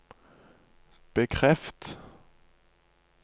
bekreft